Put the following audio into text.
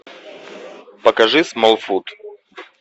покажи смолфут